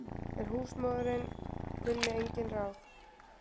En húsmóðirin kunni engin ráð.